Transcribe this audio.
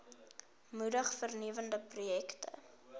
moedig vernuwende projekte